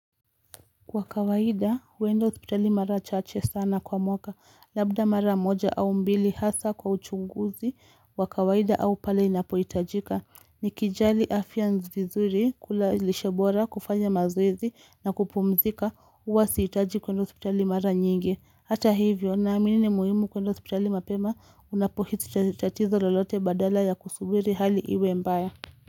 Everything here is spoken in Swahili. Kwa kawaida huenda hospitali mara chache sana kwa mwaka. Labda mara moja au mbili hasa kwa uchunguzi wa kawaida au pale inapohitajika nikijali afya nzuri, kula lishe bora, kufanya mazoezi na kupumzika huwa sihitaji kuenda hospitali mara nyingi. Hata hivyo naamini ni muhimu kwenda hospitali mapema unapohisi tatizo lolote badala ya kusubiri hali iwe mbaya.